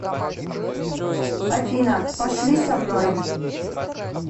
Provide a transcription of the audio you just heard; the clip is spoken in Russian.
афина пошли со мной